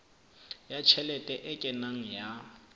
ya tjhelete e kenang ya